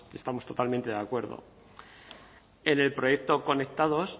pues estamos totalmente de acuerdo en el proyecto conectados